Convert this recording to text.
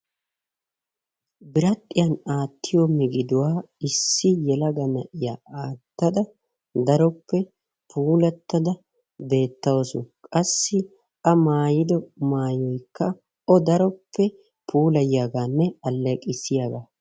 Biradhiyan aatiyo migiduwa issi yelga na'iya aatada daroppe puulata beetawusu, qassi a maayido maayoykka o daro puulayiyaaganne aleeqissiyaagaa.